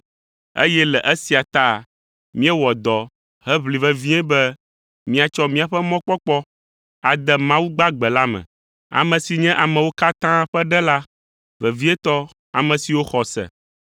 eye le esia ta míewɔ dɔ heʋli vevie be míatsɔ míaƒe mɔkpɔkpɔ ade Mawu gbagbe la me, ame si nye amewo katã ƒe Ɖela, vevietɔ ame siwo xɔ se.